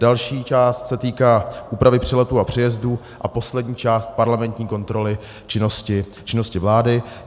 Další část se týká úpravy přeletů a přejezdů a poslední část parlamentní kontroly činnosti vlády.